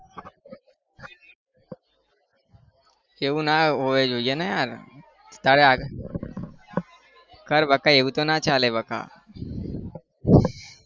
એવું ના હોવું જોઈએ ને યાર તારે કર બકા એવું તો ના ચાલે બકા